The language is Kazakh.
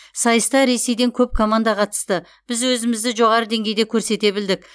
сайыста ресейден көп команда қатысты біз өзімізді жоғары деңгейде көрсете білдік